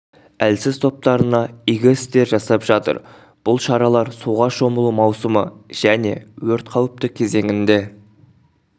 әлсіз топтарына игі істер жасап жатыр бұл шаралар суға шомылу маусымы және өрт қауіпті кезеңінде